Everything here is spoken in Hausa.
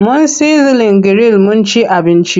Mun sizlin giril mun ci abinci.